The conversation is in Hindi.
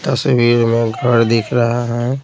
तस्वीर में घर दिख रहा है।